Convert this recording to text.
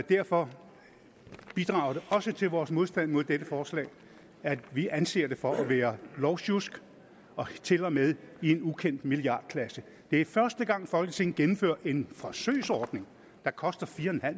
derfor bidrager det også til vores modstand mod dette forslag at vi anser det for at være lovsjusk til og med i en ukendt milliardklasse det er første gang folketinget indfører en forsøgsordning der koster fire